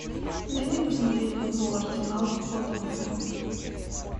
дай мне посмотреть футбол арсенал тоттенхэм